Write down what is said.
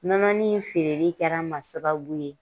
Nɔnɔnin feereli kɛra n ma sababu ye